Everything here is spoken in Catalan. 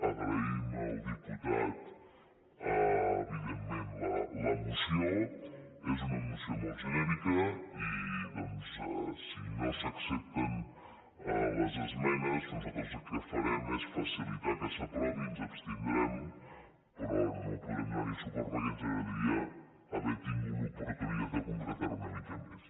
agraïm al diputat evidentment la moció és una mo·ció molt genèrica i doncs si no s’accepten les esme·nes nosaltres el que farem és facilitar que s’aprovi ens abstindrem però no podrem donar·hi suport per·què ens agradaria haver tingut l’oportunitat de concre·tar·ho una mica més